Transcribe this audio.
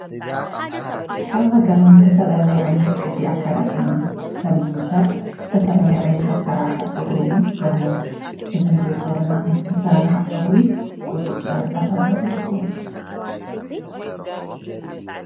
ኣብ ሃገርና ዝተፈላለዩ ዓይነት ቅዲ ኣከዳድና ከም ዝዝውተር ዝተፈላለዩ ዓይነት ኣሰራርሓ ፀጉሪ እዉን ኣለው። እዚ ንሪኦ ዘለና ዓይነት ኣሰራርሓ ፀጉሪ ቁጥጥር እንዳተባሃለ ይፍለጥ።